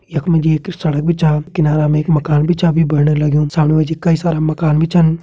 यखमा जी एक सड़क भी छा किनारा में एक माकन भी छा अभी बणने लगयूं सामने मजी कई सारा माकन भी छन।